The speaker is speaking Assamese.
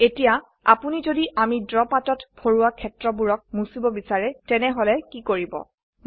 এতিয়া আপোনি যদি আমি ড্ৰ পাতত ভৰোৱা ক্ষেত্ৰবোৰক মুচিব বিচাৰে তেনেহলে কি কৰিব160